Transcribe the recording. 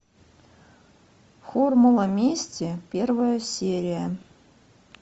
формула мести первая серия